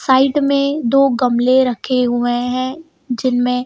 side में दो गमले रखे हुए हैं जिनमें--